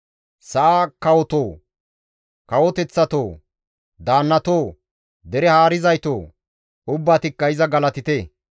Sa7aa kawotoo, kawoteththatoo! Daannatoo, dere haarizaytoo! Ubbatikka iza galatite.